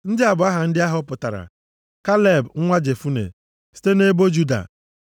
“Ndị a bụ aha ndị a họpụtara: “Kaleb nwa Jefune, site nʼebo Juda.